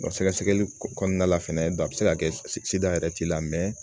sɛgɛsɛgɛli kɔnɔna la fɛnɛ a bɛ se ka kɛ yɛrɛ t'i la